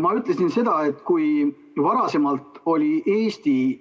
Ma ütlesin seda, et kui varem oli Eesti